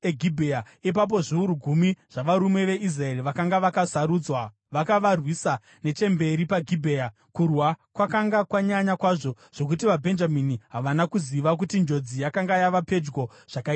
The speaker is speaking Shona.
Ipapo zviuru gumi zvavarume veIsraeri vakanga vakasarudzwa vakavarwisa nechemberi paGibhea. Kurwa kwakanga kwanyanya kwazvo zvokuti vaBhenjamini havana kuziva kuti njodzi yakanga yava pedyo zvakaita sei.